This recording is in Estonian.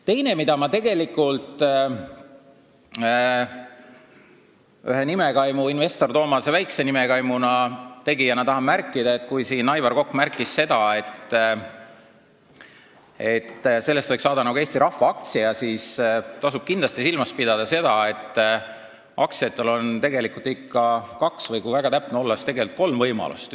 Teine asi, mida ma investor Toomase väikse nimekaimuna tahan öelda, on see, et kui siin Aivar Kokk märkis, et sellest võiks saada nagu Eesti rahvaaktsia, siis tasub kindlasti silmas pidada, et aktsiate puhul on ikka kaks või kui väga täpne olla, siis tegelikult kolm võimalust.